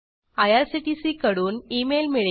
IRCTC कडून email मिळेल